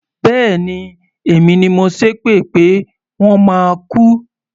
Bẹ́ẹ̀ni, èmi ni mo ṣépè pé wọ́n máa kú.